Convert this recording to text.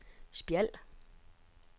Spjald